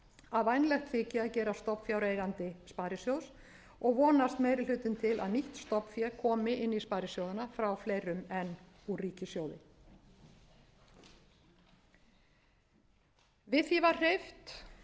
að vænlegt þyki að gerast stofnfjáreigandi sparisjóðs og vonast meiri haginn til að nýtt stofnfé komi inn í sparisjóðina frá fleirum en ríkissjóði við því var hreyft frú